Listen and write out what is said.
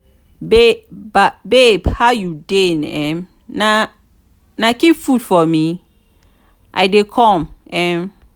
babe how you dey um na keep food for me i i dey come um